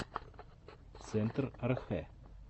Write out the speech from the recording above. центр архэ